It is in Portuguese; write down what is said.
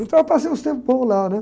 Então eu passei uns tempos bons lá, né?